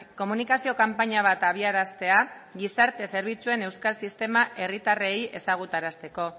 komunikazio kanpaina bat abiaraztea gizarte zerbitzuen euskal sistema herritarrei ezagutarazteko